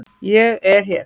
ÉG ER HÉR!